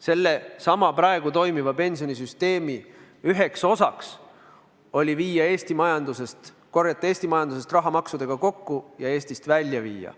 Sellesama praegu toimiva pensionisüsteemi üks osa oli korjata Eesti majandusest raha maksudega kokku ja Eestist välja viia.